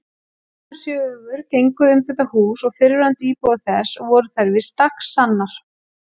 Magnaðar sögur gengu um þetta hús og fyrrverandi íbúa þess og voru þær víst dagsannar.